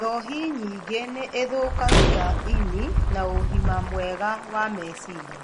Njohi nyingĩ nĩ ithũkagia ini na ũgima mwega wa meciria.